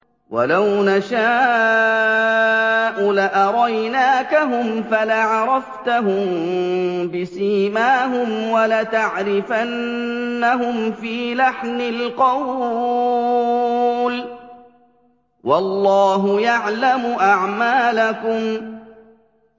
وَلَوْ نَشَاءُ لَأَرَيْنَاكَهُمْ فَلَعَرَفْتَهُم بِسِيمَاهُمْ ۚ وَلَتَعْرِفَنَّهُمْ فِي لَحْنِ الْقَوْلِ ۚ وَاللَّهُ يَعْلَمُ أَعْمَالَكُمْ